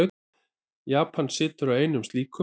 Japan situr á einum slíkum.